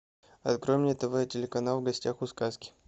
открой мне тв телеканал в гостях у сказки